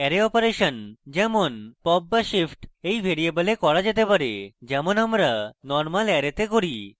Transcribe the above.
array operation যেমন pop/shift এই ভ্যারিযেবলে করা যেতে পারে যেমন আমরা normal অ্যারেতে করি